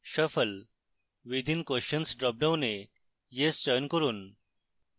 shuffle within questions dropdown yes চয়ন করুন